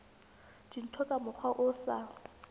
dintho ka mokgwa o sa